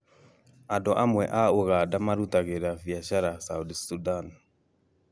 Andũ amwe a ũganda marutagĩra biacara South Sudan